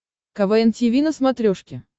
квн тиви на смотрешке